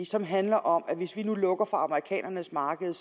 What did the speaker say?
som handler om at hvis vi nu lukker for amerikanernes marked